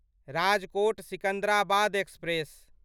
Rajkot Secunderabad express